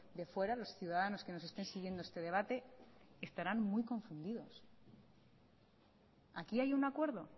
de fuera los ciudadanos que nos estén siguiendo este debate estarán muy confundidos aquí hay un acuerdo